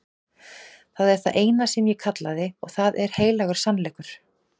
Það er það eina sem ég kallaði og það er heilagur sannleikur.